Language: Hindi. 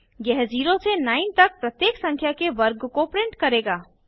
यह 0 से 9 तक प्रत्येक संख्या के वर्ग को प्रिंट करेगा